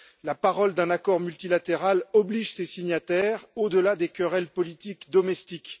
La parole d'un accord multilatéral oblige ses signataires, au delà des querelles politiques domestiques.